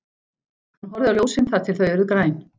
Hann horfði á ljósin þar til þau urðu græn.